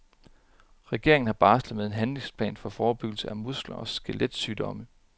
Regeringen har barslet med en handlingsplan for forebyggelse af muskel og skelet sygdomme.